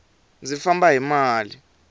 ndzi famba hi mali